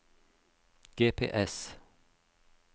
GPS